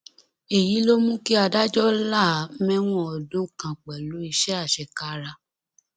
èyí ló mú kí adájọ là á mẹwọn ọdún kan pẹlú iṣẹ àṣekára